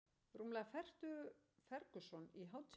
Rúmlega fertugur Ferguson í hátíðarbúningi